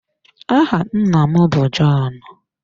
Áhà nna m bụ John.